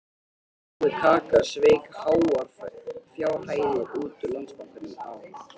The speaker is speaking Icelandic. Jói kaka sveik háar fjárhæðir út úr Landsbankanum á